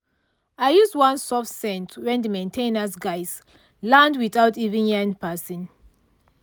i use one soft scent when the main ten ance guys land without even yarn person.